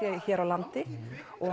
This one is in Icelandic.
hér á landi